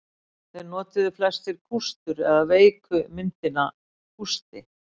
Þeir notuðu flestir kústur eða veiku myndina kústi.